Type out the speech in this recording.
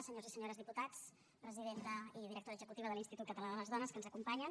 senyors i senyores diputats presidenta i directora executiva de l’institut català de les dones que ens acompanyen